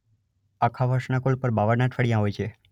આખા વર્ષના કુલ ૫૨ બાવન અઠવાડિયાં હોય છે.